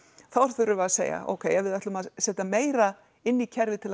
þá þurfum við að segja ókei við ætlum að setja meira inn í kerfið til að